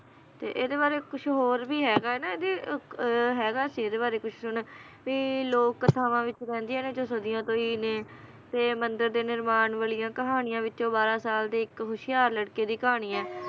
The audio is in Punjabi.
ਤੇ ਇਹਦੇ ਬਾਰੇ ਕੁਛ ਹੋਰ ਵੀ ਹੈਗਾ ਹੈ ਨਾ ਇਹਦੇ ਇੱਕ ਅਹ ਹੈਗਾ ਸੀ ਇਹਦੇ ਬਾਰੇ ਕੁਛ ਹੁਣ ਵੀ ਲੋਕ ਕਥਾਵਾਂ ਵਿਚ ਰਹਿੰਦੀਆਂ ਨੇ ਜੋ ਸਦੀਆਂ ਤੋਂ ਈ ਨੇ ਤੇ ਮੰਦਿਰ ਦੇ ਨਿਰਮਾਣ ਵਾਲੀਆਂ ਕਹਾਣੀਆਂ ਵਿਚੋਂ ਬਾਰ੍ਹਾਂ ਸਾਲ ਦੇ ਇੱਕ ਹੋਸ਼ਿਆਰ ਲੜਕੇ ਦੀ ਕਹਾਣੀ ਏ